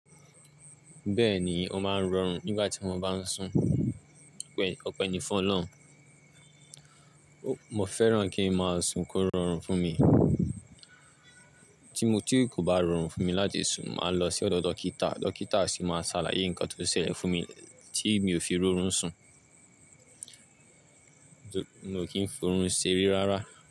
Bẹ́ẹ̀ ni, ó máa ń rọrùn nígbà tí mo bá sùn. Òpẹ́ní fún Ọlọ́run, mo fẹ́ràn kí n máa sùn kí ó rọrùn fún mi. Tí kò bá rọrùn fún mi láti sùn, màá lọ sí ọ̀dọ̀ dókítà, dókítà sì máa ṣàlàyé nǹkan tó ṣẹlẹ̀ fún mi tí mi ò fi rọrùn sùn, Mi ó kìn forún ṣere rárá.